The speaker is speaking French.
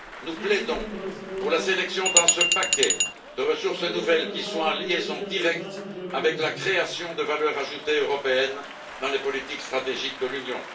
Nous plaidons pour la sélection, dans ce paquet, de ressources nouvelles qui soient en liaison directe avec la création de valeur ajoutée européenne dans les politiques stratégiques de l'Union.